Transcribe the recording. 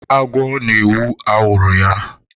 Agwọ na-ewu awụrụ ya.